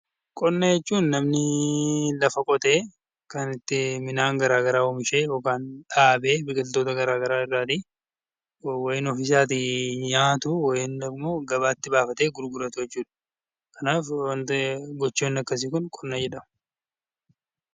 Qonna jechuun namni lafa qotee kan itti minaan garaa garaa oomishee yookaan dhaabee biqiltoota gara garaa irraa tii yoowiin ofii isaatii nyaatu yoowiin immoo gabaatti baafatee gurguratu jechuu dha. Kanaaf gochoonni akkasii kun 'Qonna' jedhamu.